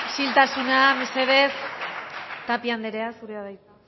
isiltasuna mesedez tapia andrea zurea da hitza